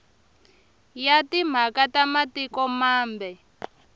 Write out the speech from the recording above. ya timhaka ta matiko mambe